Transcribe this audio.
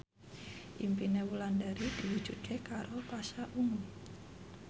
impine Wulandari diwujudke karo Pasha Ungu